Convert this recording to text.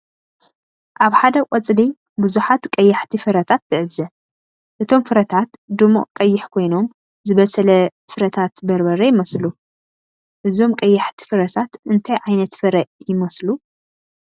ኣብ ሓደ ቆጽሊ ብዙሓት ቀያሕቲ ፍረታት ትዕዘብ። እቶም ፍረታት ድሙቕ ቀይሕ ኮይኖም ዝበሰለ ፍረታት በርበረ ይመስሉ። እዞም ቀያሕቲ ፍረታት እንታይ ዓይነት ፍረ ይመስሉ?